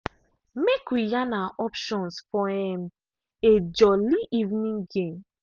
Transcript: make we yan our options for um a jolli evening game.